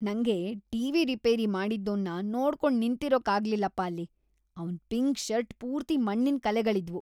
ನಂಗೆ TV. Repair ಮಾಡ್ತಿದ್ದೋನ್ನ ನೋಡ್ಕೊಂಡ್ ನಿಂತಿರೋಕಾಗ್ಲಿಲ್ಲಪ್ಪ ಅಲ್ಲಿ, ಅವ್ನ್ ಪಿಂಕ್ ಷರ್ಟ್‌ ಪೂರ್ತಿ ಮಣ್ಣಿನ್ ಕಲೆಗಳಿದ್ವು.